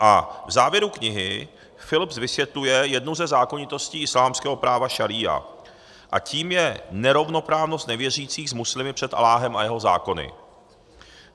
A v závěru knihy Philips vysvětluje jednu ze zákonitostí islámského práva šaría, a tou je nerovnoprávnost nevěřících s muslimy před Alláhem a jeho zákony.